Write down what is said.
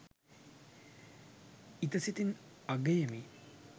ඉත සිතින් අගයමි